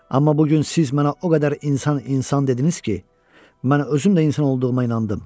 Amma bu gün siz mənə o qədər insan insan dediniz ki, mən özüm də insan olduğuma inandım.